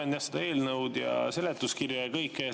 Ma loen seda eelnõu ja seletuskirja ja kõike seda.